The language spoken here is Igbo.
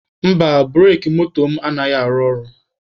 Mba, bureki moto m anaghị arụ ọrụ.